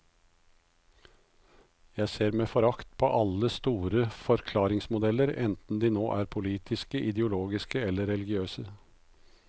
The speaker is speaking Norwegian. Jeg ser med forakt på alle store forklaringsmodeller, enten de nå er politiske, ideologiske eller religiøse.